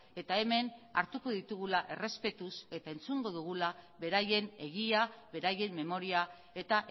eta hemen hartuko ditugula errespetuz eta entzungo dugula beraien egia beraien memoria eta